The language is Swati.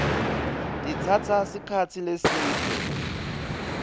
titsatsa sikhatsi lesidze